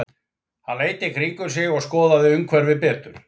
Hann leit í kringum sig og skoðaði umhverfið betur.